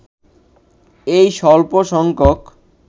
এই স্বল্প সংখ্যক